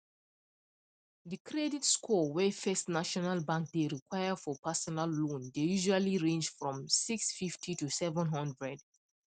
the credit score wey first national bank dey require for personal loan dey usually range from 650 to 700